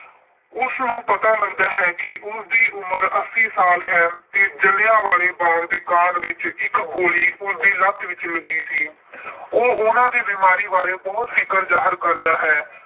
ਉਸਨੂੰ ਪਤਾ ਲੱਗਦਾ ਹੈ ਕਿ ਉਸਦੀ ਉਮਰ ਅੱਸੀ ਸਾਲ ਹੈ ਤੇ ਜਲ੍ਹਿਆਂ ਵਾਲੇ ਕਾਂਡ ਵਿੱਚ ਇੱਕ ਗੋਲੀ ਉਸਦੀ ਲੱਤ ਵਿੱਚ ਲੱਗੀ ਸੀ। ਉਹ ਉਹਨਾਂ ਦੀ ਬੀਮਾਰੀ ਬਾਰੇ ਬਹੁਤ ਫਿਕਰ ਜਾਹਰ ਕਰਦਾ ਹੈ।